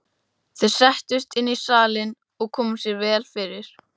Þeir settust inn í salinn og komu sér vel fyrir.